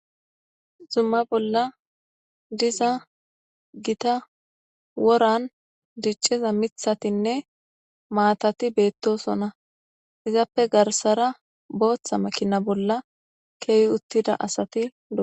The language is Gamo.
Zumma bolla diza gita woran dicciza mithatinne maatati beettosona izappe garsara booththa makina bolla keehi uttida asati ua